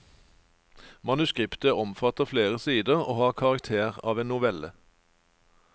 Manuskriptet omfatter flere sider, og har karakter av en novelle.